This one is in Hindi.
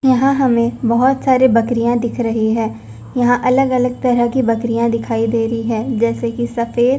यहां हमें बहोत सारे बकरियां दिख रही हैं यहां अलग अलग तरह की बकरियां दिखाई दे रही हैं जैसे कि सफेद--